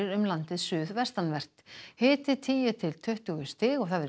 um landið suðvestanvert hiti tíu til tuttugu stig